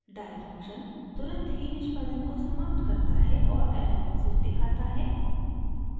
die function तुरंत ही निष्पादन को समाप्त करता है और एरर मैसेज दिखाता है